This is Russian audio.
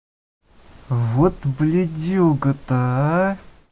вот блядюга то а